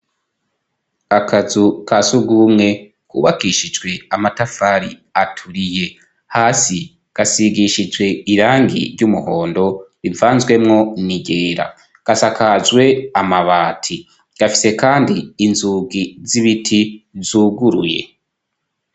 Akazu ka sugumwe kubakishijwe amatafari aturiye, hasi gasigishijwe irangi ry'umuhondo rivanzwemo n'iryera, gasakajwe amabati ,gafise kandi inzugi z'ibiti zuguruye.